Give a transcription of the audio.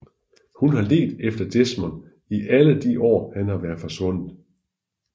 Hun har ledt efter Desmond i alle de år han har været forsvundet